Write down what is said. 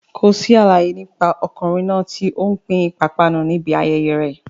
Kò sí àlàyé nípa ọkùnrin náà tí ó ń pín ìpápánu níbi ayẹyẹ rẹ̀.